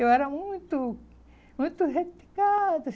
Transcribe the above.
Eu era muito, muito requintada.